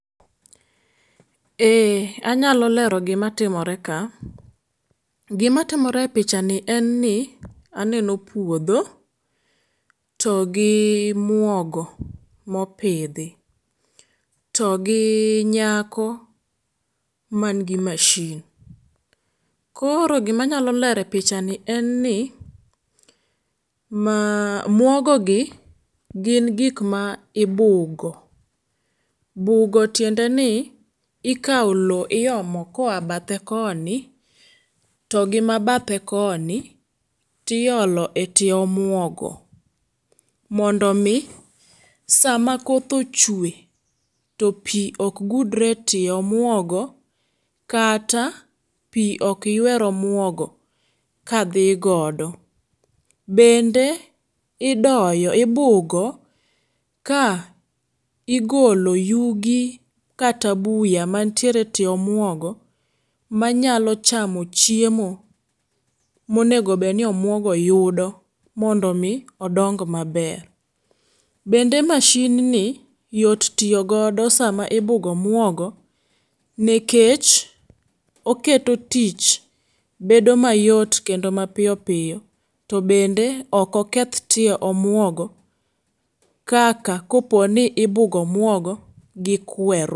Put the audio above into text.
Ee anyalo lero gi ma timore ka. Gi ma timore e picha ni en ni aneno puodho to gi muogo ma opidhi to gi nyako mangi mashin. Koro gi ma anyalo lero en ni muogo gi gin gik ma ibugo, ibugo ni tiende ni ikawo loo iomo ka oya bathe koni to gi ma bathe koni to iolo e tie omuogo mondo mi saa ma koth ochwe to pi ok gudre e tie omuogo kata pi ok ywer omuogo ka dhi godo. Bende idoyo ibugo ka igolo yugi kata buya mantiere tie omuogo ma nyalo chamo chiemo ma onego bed ni omuogo yudo mondo mi odong ma ber. Bende mashin ni yot tiyo godo saa ma ibugo omuogo nikech oketo tich bedo ma yot kendo ma piyo piyo to bende ok oketh tie omuogo kaka kopo ni ibugo omuogo gi kwer.